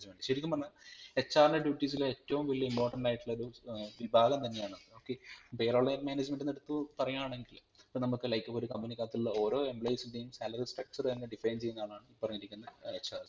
ശരിക്കും പറഞ്ഞാൽ HR ൻറെ duties ല് ഏറ്റവും വലിയ Important ആയിട്ടുള്ളരു ഏർ ഭാഗം തന്നെയാണ് okay Pay roll Management ന്ന് എടുത്ത് പറയാണെങ്കിൽ ഇപ്പൊ നമുക്ക് like ഒരു company ക്കകത്തുള്ള ഓരോ employees ഇൻ്റേയും salary structure തന്നെ define ചെയ്യുന്ന ആളാണ് ഈ പറഞ്ഞിരിക്കുന്ന HR